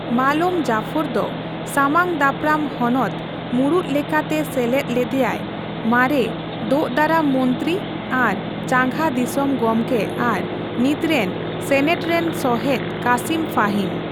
ᱢᱟᱞᱳᱢ ᱡᱟᱯᱷᱚᱨᱫᱚ ᱥᱟᱢᱟᱝ ᱫᱟᱯᱨᱟᱢ ᱦᱚᱱᱚᱛ ᱢᱩᱲᱩᱛ ᱞᱮᱠᱟᱛᱮ ᱥᱮᱞᱮᱫ ᱞᱮᱫᱮᱭᱟᱭ ᱢᱟᱨᱮ ᱫᱳᱼᱫᱟᱨᱟᱢ ᱢᱚᱱᱛᱨᱤ ᱟᱨ ᱪᱟᱸᱜᱟ ᱫᱤᱥᱚᱢ ᱜᱚᱢᱠᱮ ᱟᱨ ᱱᱤᱛᱨᱮᱱ ᱥᱮᱱᱮᱴ ᱨᱮᱱ ᱥᱚᱦᱮᱫ ᱠᱟᱥᱤᱢ ᱯᱷᱟᱦᱤᱢ ᱾